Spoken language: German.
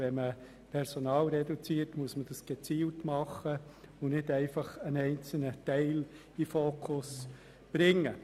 Wenn man Personal reduziert, muss man dies gezielt tun und nicht einfach einen Teil desselben in den Fokus rücken.